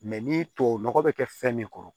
ni tubabu nɔgɔ be kɛ fɛn min kɔrɔ